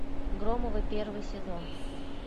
громовы первый сезон